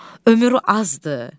Ömür azdır.